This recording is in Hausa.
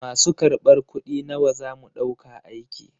Masu kar ɓar kuɗi nawa zamu ɗauka aiki?